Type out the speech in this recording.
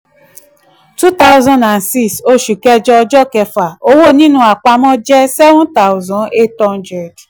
two thousand and six oṣù kẹjọ ọjọ́ kẹfà: owó nínú àpamọ́ seven thousand eight hundred